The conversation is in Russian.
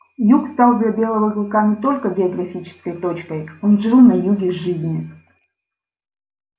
юг стал для белого клыка не только географической точкой он жил на юге жизни